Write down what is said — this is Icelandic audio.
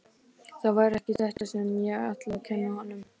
Það var ekki þetta sem ég ætlaði að kenna honum.